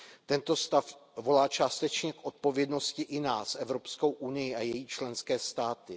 Tento stav volá částečně k odpovědnosti i nás, Evropskou unii a její členské státy.